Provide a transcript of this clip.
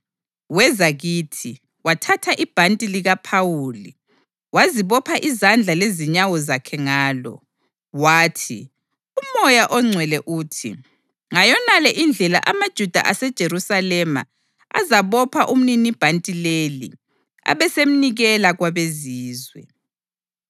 Weza kithi, wathatha ibhanti likaPhawuli, wazibopha izandla lezinyawo zakhe ngalo, wathi, “UMoya oNgcwele uthi, ‘Ngayonale indlela amaJuda aseJerusalema azabopha umninibhanti leli abesemnikela kwabeZizwe.’ ”